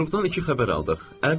Peterburqdan iki xəbər aldıq.